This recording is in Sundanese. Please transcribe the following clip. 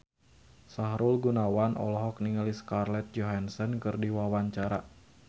Sahrul Gunawan olohok ningali Scarlett Johansson keur diwawancara